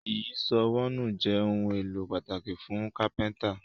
Ìyíṣòó wọnú jé òun èló pàtàkì fún kápẹ́ńtà